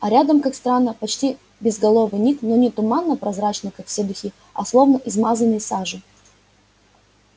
а рядом как странно почти безголовый ник но не туманно-прозрачный как все духи а словно измазанный сажей